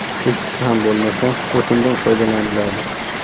Ikkisi ham bo‘lmasa, o‘tindan foydalaniladi.